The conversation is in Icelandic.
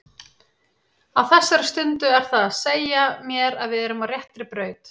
Á þessari stundu er það að segja mér að við erum á réttri braut.